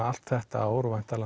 allt þetta ár og væntanlega